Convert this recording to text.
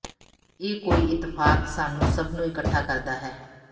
ਇਹ ਕੋਈ ਇਤਫ਼ਾਕ ਸਾਨੂੰ ਸਭ ਨੂੰ ਇਕੱਠਾ ਕਰਦਾ ਹੈ